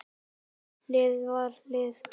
Hlið við hlið.